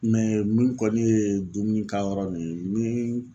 min kɔni ye dumuni ka yɔrɔ nun ye ni